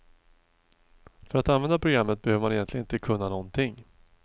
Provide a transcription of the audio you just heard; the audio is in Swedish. För att använda programmet behöver man egentligen inte kunna någonting.